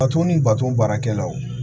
Bato ni baton baarakɛlaw